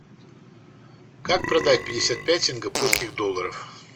как продать пятьдесят пять сингапурских долларов